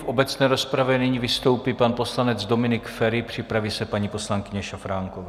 V obecné rozpravě nyní vystoupí pan poslanec Dominik Feri, připraví se paní poslankyně Šafránková.